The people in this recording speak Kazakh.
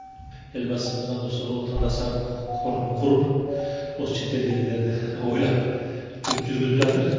елбасымыз да осы отандастар қорын құрып осы шетелдегілерді ойлап жүргізіп жатыр